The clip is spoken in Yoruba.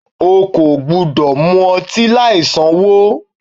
O kò gbúdọ̀ mu ọtí láì sanwó.